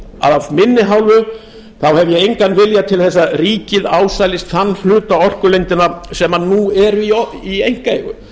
af minni hálfu hef ég engan vilja til þess að ríkið ásælist þann hluta orkulindanna sem nú eru í einkaeigu